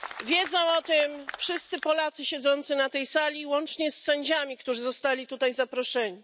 Wiedzą o tym wszyscy Polacy siedzący na tej sali, łącznie z sędziami, którzy zostali tutaj zaproszeni.